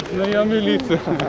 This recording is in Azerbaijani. Milisiya.